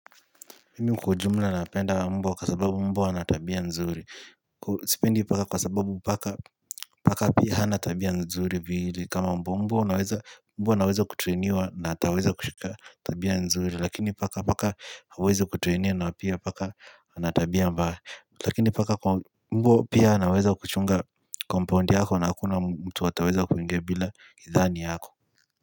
Mimi kwajumla napenda mbwa kwa sababu mbwa anatabia nzuri sipendi paka kwa sababu paka paka pia hana anatabia nzuri vile kama mbwa mbwa anaweza mbwa anaweza kutrainiwa ataweza kushika tabia nzuri lakini paka paka hawezi kutrainiwa na pia paka anatabia mbaya lakini paka kwa mbwa pia anaweza kuchunga kompaundi yako na hakuna mtu ataweza kuingia bila hidhani yako.